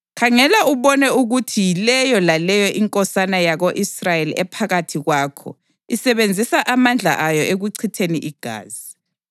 ‘Khangela ubone ukuthi yileyo laleyo inkosana yako-Israyeli ephakathi kwakho isebenzisa amandla ayo ekuchitheni igazi.